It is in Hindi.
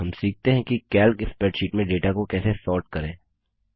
हम सीखते हैं कि कैल्क स्प्रैडशीट में डेटा को कैसे सोर्ट करें